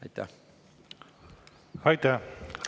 Aitäh!